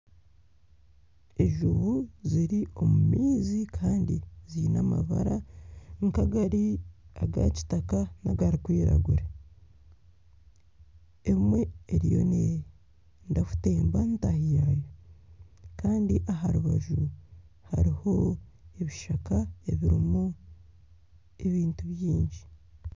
Enjubu ziri omu maizi kandi ziine amabara nk'agari agakitaka nagarikwiragura, emwe eriyo neeyende kutemba ntaahi yaayo kandi aha rubaju hariho ebishaka ebirimu ebintu bingi